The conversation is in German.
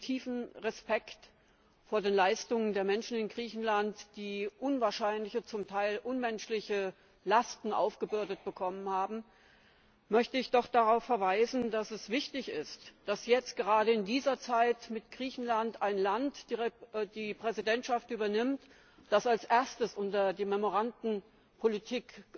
Mit tiefem Respekt vor den Leistungen der Menschen in Griechenland, denen unwahrscheinliche, zum Teil unmenschliche Lasten aufgebürdet worden sind, möchte ich doch darauf verweisen, dass es wichtig ist, dass jetzt gerade in dieser Zeit mit Griechenland ein Land die Präsidentschaft übernimmt, das als erstes unter die Memoranden Politik